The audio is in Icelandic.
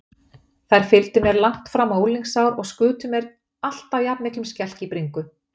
Þær fylgdu mér langt fram á unglingsár og skutu mér alltaf jafnmiklum skelk í bringu.